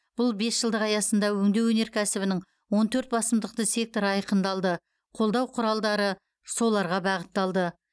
бұл бесжылдық аясында өңдеу өнеркәсібінің он төрт басымдықты секторы айқындалды қолдау құралдары соларға бағытталды